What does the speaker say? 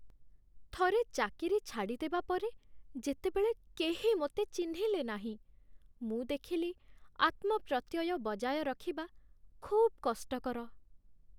ଥରେ ଚାକିରି ଛାଡ଼ିଦେବା ପରେ, ଯେତେବେଳେ କେହି ମୋତେ ଚିହ୍ନିଲେ ନାହିଁ, ମୁଁ ଦେଖିଲି ଆତ୍ମପ୍ରତ୍ୟୟ ବଜାୟ ରଖିବା ଖୁବ୍ କଷ୍ଟକର।